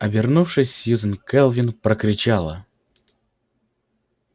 обернувшись сьюзен кэлвин прокричала